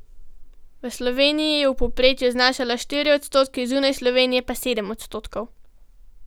V Sloveniji je v povprečju znašala štiri odstotke, zunaj Slovenije pa sedem odstotkov.